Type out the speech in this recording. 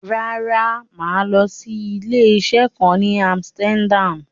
Rárá, mà á lọ sí ilé-isé kan ní Amsterdam.